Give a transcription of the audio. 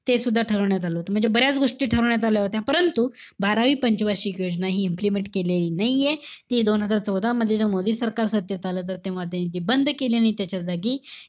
तेसुद्धा ठरवण्यात आलं होतं. म्हणजे, भरायचं गोष्टी ठरवण्यात आल्या होत्या. परंतु, बारावी पंचवार्षिक योजना हि implement केलेली नाहीये. ती दोन हजार चौदा मध्ये, मोदी सरकार सत्तेत आलं, तर तेव्हा ते बंद केल्यानी त्याच्या जागी,